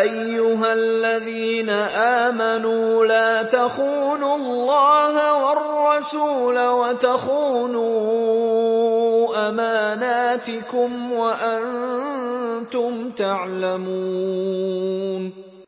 أَيُّهَا الَّذِينَ آمَنُوا لَا تَخُونُوا اللَّهَ وَالرَّسُولَ وَتَخُونُوا أَمَانَاتِكُمْ وَأَنتُمْ تَعْلَمُونَ